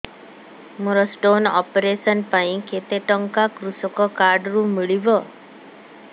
ମୋର stone operation ପାଇଁ କେତେ ଟଙ୍କା କୃଷକ କାର୍ଡ ରୁ ମିଳିବ